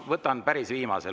Võtan päris viimase.